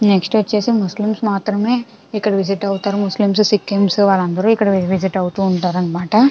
Next వచ్చేసి Muslims మాత్రమే ఇక్కడ విజిట్ అవుతూరు ముస్లిమ్స సిక్కింస్ వాళ్ళందరూ ఇక్కడే విజిట్ అవుతూ ఉంటారు అన్నమాట.